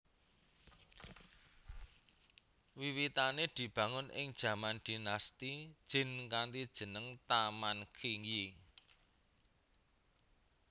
Wiwitane dibangun ing jaman Dinasti Jin kanthi jeneng Taman Qingyi